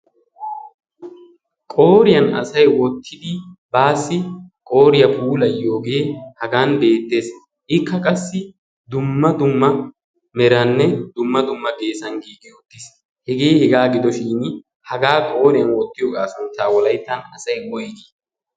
qooriyan asay wottidi baassi qooriya puulayiyogee haggan beettees, ikka qassi dumma dumma meraaninne dumma dumma geessan giigi uttiis. Hegee hegaa gidoshiin hagaa qooriyan wottiyogaa sunttaa wolayttan asay woyigii?